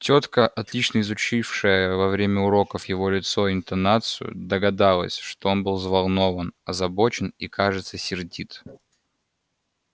тётка отлично изучившая во время уроков его лицо и интонацию догадалась что он был взволнован озабочен и кажется сердит